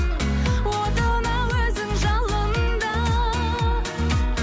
отына өзің жалында